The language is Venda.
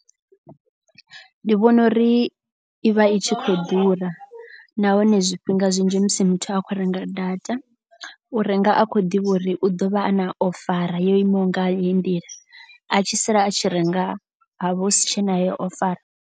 Ndi vhona uri i vha i tshi khou ḓura nahone zwifhinga zwinzhi musi muthu a khou renga data. U renga a khou ḓivha uri u ḓo vha a na ofara yo imaho nga heyi nḓila. A tshi sala a tshi renga ha vha hu si tshena heyo ofara.